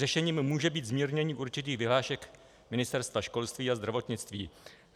Řešením může být zmírnění určitých vyhlášek Ministerstva školství a zdravotnictví.